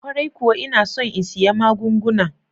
Kwarai kuwa, ina son in siya magunguna.